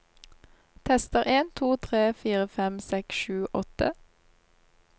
Tester en to tre fire fem seks sju åtte